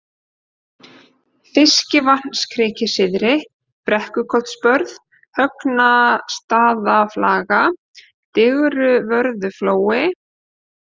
Fiskivatnskriki syðri, Brekkukotsbörð, Högnastaðaflaga, Digruvörðuflói